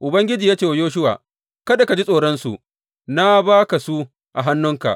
Ubangiji ya ce wa Yoshuwa, Kada ka ji tsoronsu; na ba ka su a hannunka.